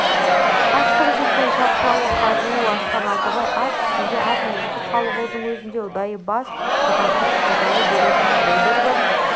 аштығы жеткен шаршауы қажуы асқан алтыбай ат үстінде аз мызғып-қалғудың өзінде ұдайы бас шатастырып қайталай беретін бұлдыр бір